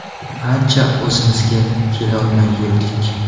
Ancha o‘zimizga kelolmay yurdik.